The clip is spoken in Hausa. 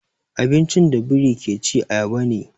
Abincin da biri ke ci ayaba ne.